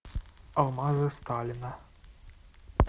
алмазы сталина